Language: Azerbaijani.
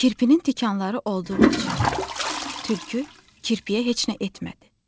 Kirpinin tikanları olduğu üçün tülkü kirpiyə heç nə etmədi.